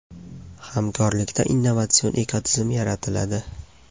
Hamkorlikda innovatsion ekotizim yaratiladi.